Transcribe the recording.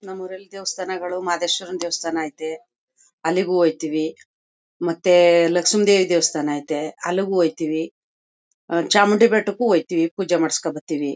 ನಮ್ ಊರಲ್ಲಿ ದೇವಸ್ಥಾನಗಳು ಮಾದೇಶ್ವರುನ್ ದೇವಸ್ತಾನ್ ಐತೆ ಅಲ್ಲಿಗೂ ಹೋಯ್ತಿವಿ ಮತ್ತೇ ಲಕ್ಷ್ಮಿ ದೇವಿ ದೇವಸ್ಥಾನ ಅಯ್ತೆ ಅಲ್ಲಿಗೂ ಓಯ್ತಿವಿ ಚಾಮುಂಡಿ ಬೆಟ್ಟಕ್ಕೂ ಓಯ್ತಿವಿ ಪೂಜೆ ಮಾಡ್ಸ್ಕ ಬತ್ತಿವಿ.